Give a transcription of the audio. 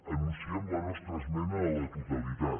anunciem la nostra esmena a la totalitat